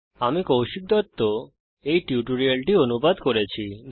আমি কৌশিক দত্ত এই টিউটোরিয়ালটি অনুবাদ করেছি